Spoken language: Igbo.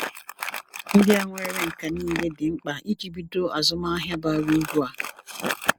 Ndị a nwere nka niile dị mkpa iji bido azụmahịa bara uru a.